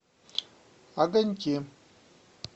огоньки